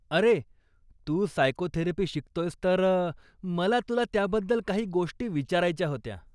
अरे, तू सायकोथेरपी शिकतोयस तर मला तुला त्याबद्दल काही गोष्टी विचारायच्या होत्या.